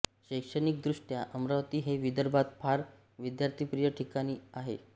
शैक्षणिकदृष्ट्या अमरावती हे विदर्भात फार विद्यार्थिप्रिय ठिकाण आहे